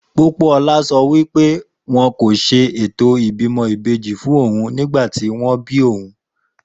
Pópóọlá sọ wípé wọn kò ṣe ètò ìbímọ ìbejí fún ohun nígbàtí wón bíí ohun